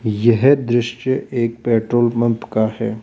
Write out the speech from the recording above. यह दृश्य एक पेट्रोल पंप का है।